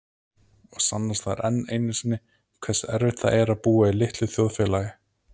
Og sannast þar enn einu sinni hversu erfitt það er að búa í litlu þjóðfélagi.